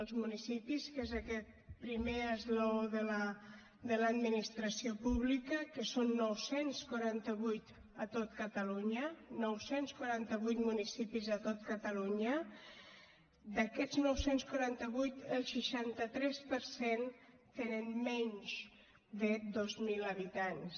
els municipis que és aquest primer esglaó de l’administració pública que són nou cents i quaranta vuit a tot catalunya nou cents i quaranta vuit municipis a tot catalunya d’aquests nou cents i quaranta vuit el seixanta tres per cent tenen menys de dos mil habitants